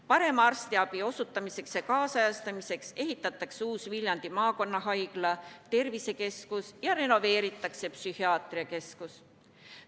Parema arstiabi osutamiseks ja kaasajastamiseks ehitatakse uus Viljandi maakonnahaigla, tervisekeskus ja renoveeritakse psühhiaatriakeskus.